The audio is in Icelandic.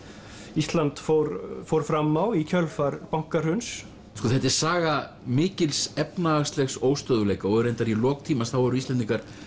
Ísland fór fór fram á í kjölfar bankahruns þetta er saga mikils efnahagslegs óstöðugleika og reyndar í lok tímans þá voru Íslendingar